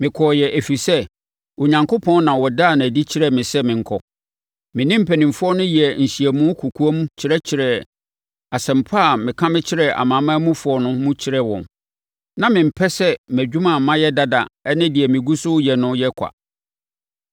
Mekɔeɛ ɛfiri sɛ, Onyankopɔn na ɔdaa no adi kyerɛɛ me sɛ menkɔ. Me ne mpanimfoɔ no yɛɛ nhyiamu kɔkoam kyerɛkyerɛɛ asɛmpa a meka mekyerɛɛ amanamanmufoɔ no mu kyerɛɛ wɔn. Na mempɛ sɛ mʼadwuma a mayɛ dada ne deɛ megu so reyɛ no yɛ ɔkwa.